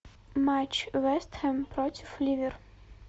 матч вест хэм против ливер